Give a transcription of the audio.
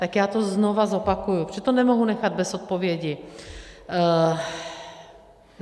Tak já to znova zopakuji, protože to nemohu nechat bez odpovědi.